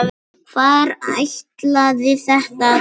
Hvar ætlaði þetta að enda?